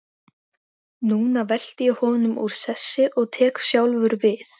Er Sóley búin að kenna þér eitthvað í málinu?